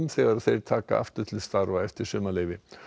þegar þeir taka aftur til starfa eftir sumarleyfi